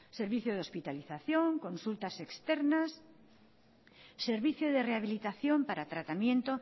servicio de hospitalización consultas externas servicio de rehabilitación para tratamiento